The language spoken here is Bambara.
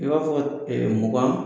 I b'a fɔ ɛɛ mugan